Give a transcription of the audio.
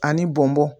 Ani bɔnbɔn